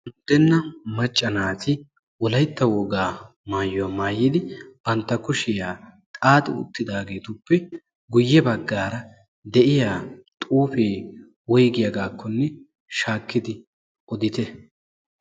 undenna macca naati wolaytta wogaa maayuwa maayidi banta kushiya xaaxi uttidaageetuppe guye bagara diya xuufee woyggiyagaako shaakkidi oddite.